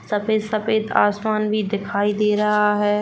सफेद-सफेद आसमान भी दिखाई दे रहा है।